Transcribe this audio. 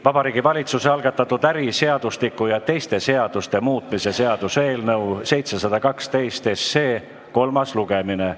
Vabariigi Valitsuse algatatud äriseadustiku ja teiste seaduste muutmise seaduse eelnõu 712 kolmas lugemine.